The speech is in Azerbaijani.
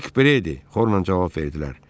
Nik Predi xorla cavab verdilər.